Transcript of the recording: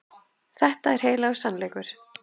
Þetta er heilagur sannleikur.